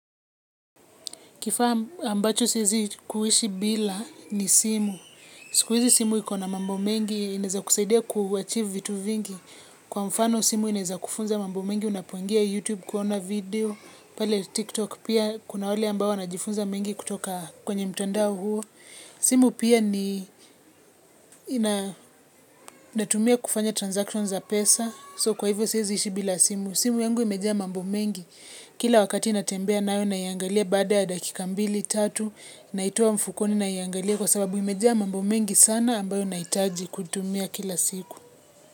Kifaa ambacho siezi kuishi bila ni simu, siku hizi simu ikona mambo mengi, inaeza kusaidia kuachieve vitu vingi. Kwa mfano simu inaeza kufunza mambo mengi, unapuongia YouTube kuona video, pale TikTok, pia kuna wale ambao wanajifunza mengi kutoka kwenye mtandao huo. Simu pia ni natumia kufanya transactions za pesa, so kwa hivyo siezi ishi bila simu. Simu yangu imejaa mambo mengi kila wakati natembea nayo naiangalia baada ya dakika mbili tatu naitoa mfukoni naiangalia kwa sababu imejaa mambo mengi sana ambayo nahitaji kutumia kila siku.